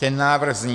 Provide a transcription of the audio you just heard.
Ten návrh zní: